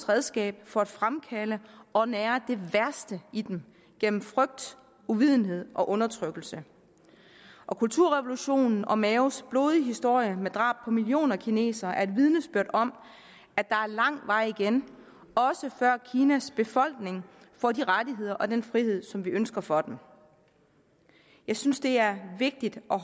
redskab for at fremkalde og nære det værste i dem gennem frygt uvidenhed og undertrykkelse og kulturrevolutionen og maos blodige historie med drab på millioner af kinesere er et vidensbyrd om at der er lang vej igen også før kinas befolkning får de rettigheder og den frihed som vi ønsker for dem jeg synes det er vigtigt at